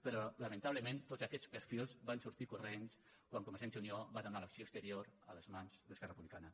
però lamentablement tots aquests perfils van sortir corrents quan convergència i unió va donar l’acció exterior a les mans d’esquerra republicana